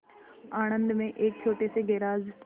आणंद में एक छोटे से गैराज